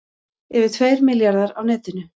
Yfir tveir milljarðar á netinu